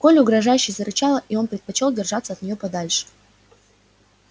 колли угрожающе зарычала и он предпочёл держаться от неё подальше